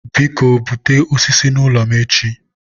biko, bute osisi n'ụlọ m echi.